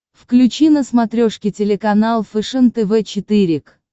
включи на смотрешке телеканал фэшен тв четыре к